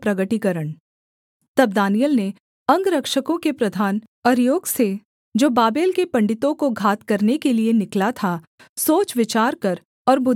तब दानिय्येल ने अंगरक्षकों के प्रधान अर्योक से जो बाबेल के पंडितों को घात करने के लिये निकला था सोच विचार कर और बुद्धिमानी के साथ कहा